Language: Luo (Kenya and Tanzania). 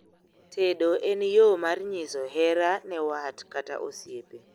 tedo en yoo mar nyiso hera ne wat kata osiepe